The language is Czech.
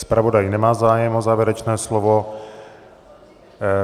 Zpravodaj nemá zájem o závěrečné slovo.